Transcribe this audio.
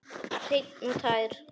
Hreinn og tær.